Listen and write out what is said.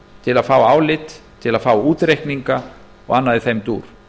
til að fá álit til að fá útreikninga og annað í þeim dúr